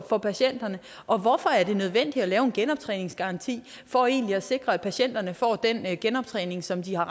for patienterne og hvorfor er det nødvendigt at lave en genoptræningsgaranti for egentlig at sikre at patienterne får den genoptræning som de har